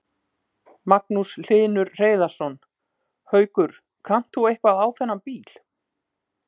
Magnús Hlynur Hreiðarsson: Haukur, kannt þú eitthvað á þennan bíl?